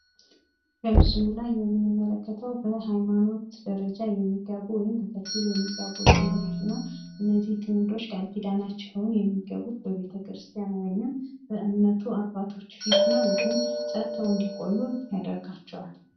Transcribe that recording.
በምስሉ ላይ የምንመለከተው በሃይማኖት ደረጃ የሚጋቡ ጥንዶችን ነው። እነዚህ ጥንዶች ቃልኪዳናቸውን የሚገቡት በቤተክርስቲያን ነው። ወይም በእምነቱ አባቶች ፊት ነው። ይህም ጸንተው እንድቆዩ ይረዳቸዋል።